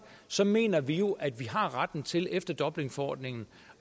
så mener vi jo at vi har retten til efter dublinforordningen